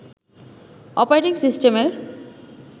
operating সিস্টেমের